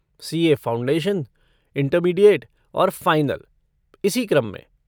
CA. Foundation, intermediate और final, इसी क्रम में।